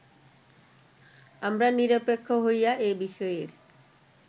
আমরা নিরপেক্ষ হইয়া এ বিষয়ের